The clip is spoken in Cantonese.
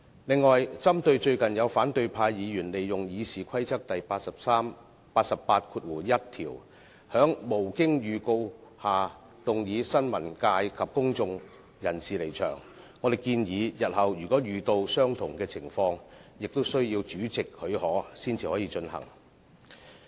另外，針對最近有反對派議員利用《議事規則》第881條，在無經預告下動議新聞界及公眾人士離場，我們建議日後如遇相同情況，亦需要主席許可才能提出議案。